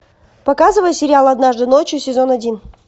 показывай сериал однажды ночью сезон один